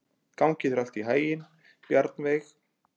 Gangi þér allt í haginn, Bjarnveig.